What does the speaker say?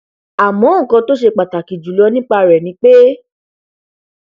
àmọ nkan tó ṣe pàtàkì jùlọ nípa rẹ ni pé